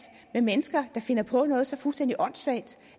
med mennesker der finder på noget så fuldstændig åndssvagt